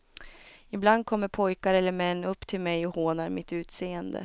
Ibland kommer pojkar eller män upp till mej och hånar mitt utseende.